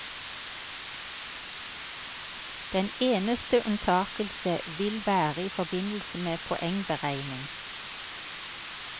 Den eneste unntakelse vil være i forbindelse med poengberegning.